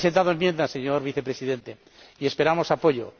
Hemos presentado enmiendas, señor Vicepresidente, y esperamos apoyo.